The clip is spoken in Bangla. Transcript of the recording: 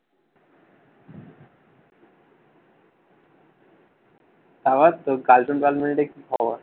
তারপর তোর cartoon girlfriend এর কি খবর?